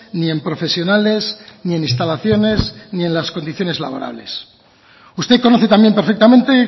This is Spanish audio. ni en profesionales ni en instalaciones ni en las condiciones laborales usted conoce también perfectamente